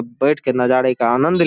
बैठ के नजारे का आनंद --